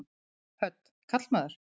Hödd: Karlmaður?